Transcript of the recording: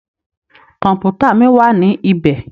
Kọ̀mpútà mí wá ní ibẹ̀.